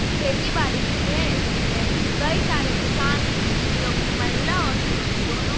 खेती बाड़ी की है इसमें कई सारे किसान जोकि महिला और पुरुष दोनों--